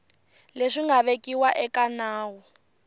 leswi nga vekiwa eka nawu